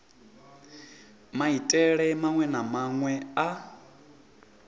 maitele maṅwe na maṅwe a